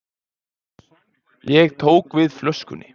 Ég tók við flöskunni.